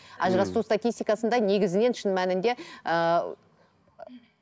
ммм ажырасу статистикасында негізінен шын мәнінде ыыы